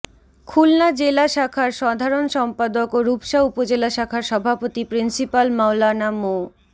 খুলনা জেলা শাখার সাধারণ সম্পাদক ও রূপসা উপজেলা শাখার সভাপতি প্রিন্সিপাল মাওলানা মো